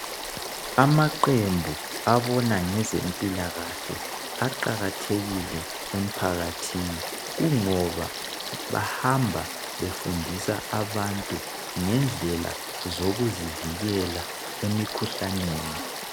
Amaqembu abona ngezempilakahle aqakathekile emphakathini kungoba bahamba befundisa abantu ngedlela zokuzivikela emikhuhlaneni .